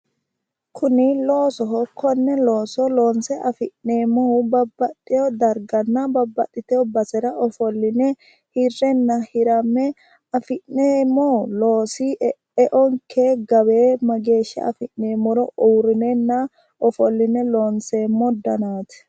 Kuni loosoho konne looso loonse afi'neemmohu babbaxewo darganna babbaxitino basera ofolline hirrenna hiramme afi'neemmo loosi eonke gawe mageeshsha afi'neemmoro uurrinenna ofolline loonseemmo danaati.